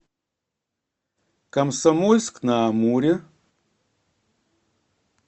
комсомольск на амуре